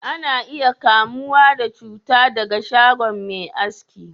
Ana iya kamuwa da cuta daga shago Mai aski